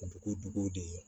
Dugu duguw de ye